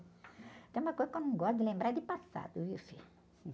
Se tem uma coisa que eu não gosto de lembrar é de passado, viu, filho?